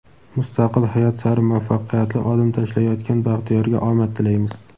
Mustaqil hayot sari muvaffaqqiyatli odim tashlayotgan Baxtiyorga omad tilaymiz!.